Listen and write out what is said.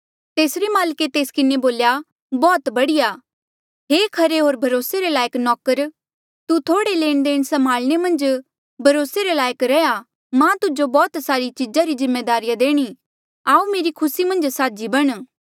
तेसरे माल्के तेस किन्हें बोल्या बौह्त बढ़िया हे खरे होर भरोसे रे लायक नौकर तू थोह्ड़े लेण देण संभाल्ने मन्झ भरोसे रे लायक रैहया मां तुजो बौह्त सारी चीजा री जिम्मेदारिया देणी आऊ मेरी खुसी मन्झ साझी बण